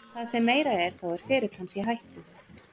Það sem meira er þá er ferill hans í hættu.